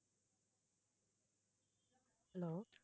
hello